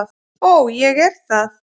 Og ég er það.